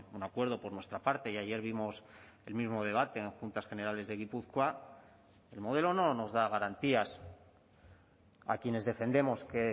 un acuerdo por nuestra parte y ayer vimos el mismo debate en juntas generales de gipuzkoa el modelo no nos da garantías a quienes defendemos que